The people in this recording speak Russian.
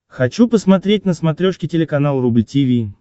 хочу посмотреть на смотрешке телеканал рубль ти ви